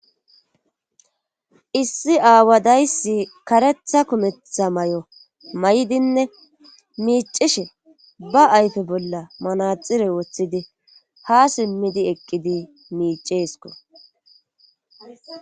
issi aawadayssi karetha kumetha may7o may7dinne miicishe ba ayfe bolla manaxire woththidi ha simmidi eqqidi miiceesko